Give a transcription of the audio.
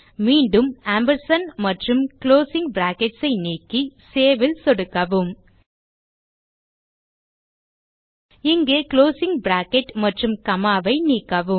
மீண்டும் ஆம்ப் மற்றும் closing brackets ஐ நீக்கி சேவ் ல் சொடுக்கவும் இங்கே குளோசிங் பிராக்கெட் மற்றும் காமா ஐ நீக்கவும்